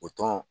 O tɔn